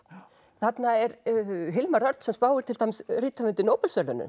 þarna er Hilmar Örn sem spáir til dæmis rithöfundi